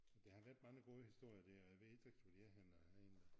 Men der har været mange gode historier der og jeg ved ikke hvor de er henne på æ egn